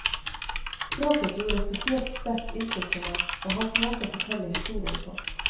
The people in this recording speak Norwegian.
Språket gjorde spesielt sterkt inntrykk på meg, og hans måte å fortelle historien på.